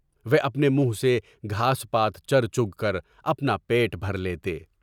وہ اپنے منہ سے گھاس پات چر چگ کر اپنا پیٹ بھر لیتے۔